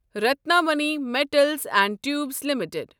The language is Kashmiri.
Ratnamani metals and tubes limited